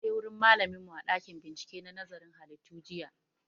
Mun je wurin malamin mu a ɗakin bincike na nazarin halittu jiya